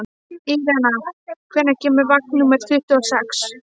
Irena, hvenær kemur vagn númer tuttugu og sex?